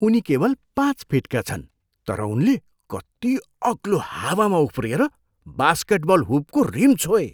उनी केवल पाँच फिटका छन् तर उनले कति अग्लो हावामा उफ्रिएर बास्केटबल हुपको रिम छोए।